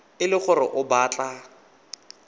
e le gore o batla